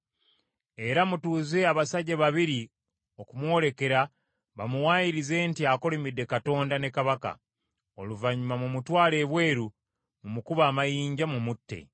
era mutuuze abasajja babiri okumwolekera bamuwaayirize nti akolimidde Katonda ne kabaka. Oluvannyuma mumutwale ebweru mumukube amayinja, mumutte.”